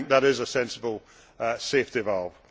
I think that is a sensible safety valve.